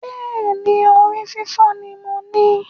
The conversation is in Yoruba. Bẹ́ẹ̀ni, orí fífọ́ ni mo ní